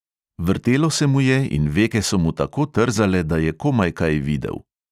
Vrtelo se mu je in veke so mu tako trzale, da je komaj kaj videl.